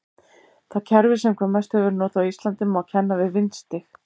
Það kerfi sem hvað mest hefur verið notað á Íslandi má kenna við vindstig.